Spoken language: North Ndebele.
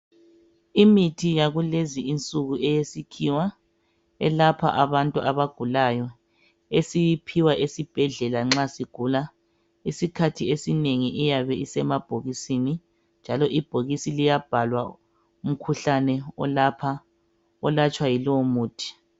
Imithi yakulezi nsuku eyesikhiwa elapha abagulayo esiyiphiwa esibhedlela nxa sigula. Esikhathi esinengi iyabe isemabhokisini njalo ibhokisi liyabhalwa umkhuhlane olatshwa yilowo muthi.